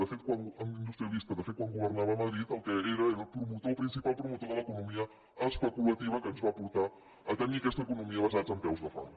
de fet quan governava a madrid el que era era el promotor el principal promotor de l’economia especulativa que ens va portar a tenir aquesta economia basada en peus de fang